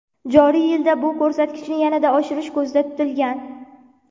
Joriy yilda bu ko‘rsatkichni yanada oshirish ko‘zda tutilgan.